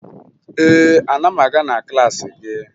Ee, ana m aga na klaasị gị